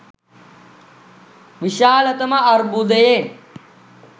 විශාලත ම අර්බුදයෙන්